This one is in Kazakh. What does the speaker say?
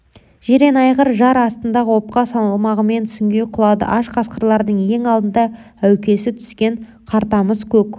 жирен айғыр жар астындағы опқа салмағымен сүңги құлады аш қасқырлардың ең алдында әукесі түскен қартамыс көк